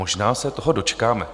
Možná se toho dočkáme.